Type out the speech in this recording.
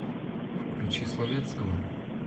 включи словетского